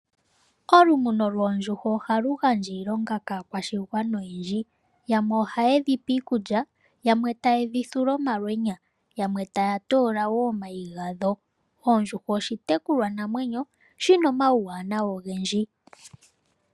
Olumuno lwoondjuhwa ohalu gandja iilonga oyindji kaakwashigwana. Yamwe ohaye dhipe iikulya, yamwe taye dhithula omalwenya noyamwe taya toola wo omayi gadho. Ondjuhwa oshitekulwanamwenyo shina omauwanawa ogendji.